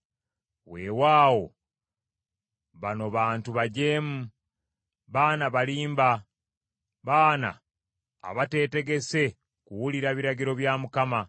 Weewaawo bano bantu bajeemu, baana balimba, baana abateetegese kuwulira biragiro bya Mukama .